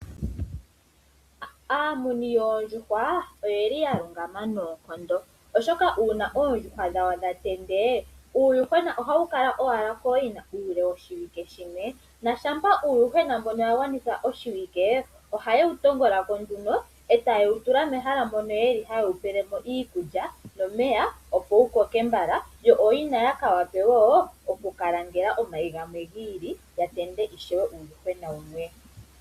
Aamuni yoondjuhwa oyeli yalungama nayi noonkondo oshoka una oondjuhwa dhawo dhatende uuyuhwena ohawu kala owala koyina ule woshiwike shimwe .Shampa uuyuhwena mbono wagwanitha oshiwike ohaye wutongolako nduno etaye wutula mehala mono yeli haye Wu peleko iikutya nomeya opo wukoke mbala yo ooyina ya kawape woo okukalangela omayi gamwe gili yatende ishewe uuyuhwena wumwe.